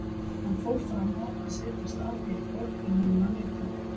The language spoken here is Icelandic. Hann fór fram á að setjast að hér í borg, en honum var neitað.